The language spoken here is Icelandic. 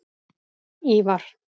Ívar